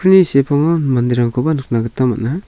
sepango manderangkoba nikna gita man·a.